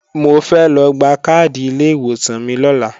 Mo fẹ́ lọ gba káàdì ilé ìwòsàn mi lọ́la